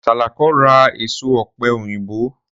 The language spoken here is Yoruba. Sàlàkó ra èso ọ̀pẹ̀ òyìnbó